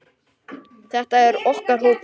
Þetta er okkar hópur.